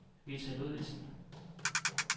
Vita Ludvigsen